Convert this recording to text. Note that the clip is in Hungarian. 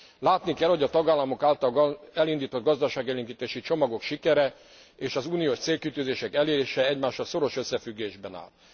Látni kell, hogy a tagállamok által elindított gazdaságélénkítési csomagok sikere és az uniós célkitűzések elérése egymással szoros összefüggésben áll.